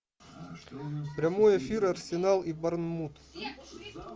прямой эфир арсенал и борнмут